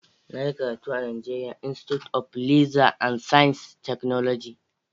Na yi karatu a NIGERIA INSTITUTE OF LEATHER AND SCIENCE TECHNOLOGY.